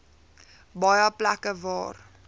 baie plekke waar